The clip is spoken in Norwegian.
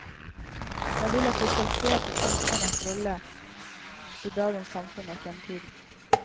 Jeg vil at vi skal se på kunstnerens rolle i dagens samfunn og fremtiden.